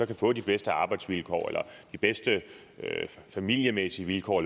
kan få de bedste arbejdsvilkår eller de bedste familiemæssige vilkår